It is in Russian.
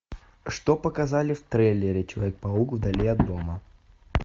что показали в трейлере человек паук вдали от дома